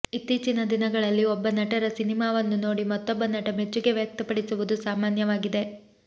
ಇತ್ತೀಚಿನ ದಿನಗಳಲ್ಲಿ ಒಬ್ಬ ನಟರ ಸಿನಿಮಾವನ್ನು ನೋಡಿ ಮತ್ತೊಬ್ಬ ನಟ ಮೆಚ್ಚುಗೆ ವ್ಯಕ್ತಪಡಿಸುವುದು ಸಾಮಾನ್ಯವಾಗಿದೆ